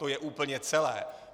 To je úplně celé.